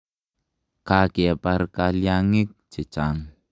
Ka kepar kalyang'ik che chang'.